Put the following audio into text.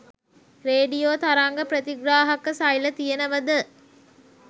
Radio තරංග ප්‍රතිග්‍රාහක සෛල තියෙනවද?